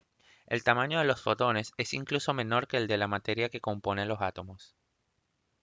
¡el tamaño de los fotones es incluso menor que el de la materia que compone los átomos!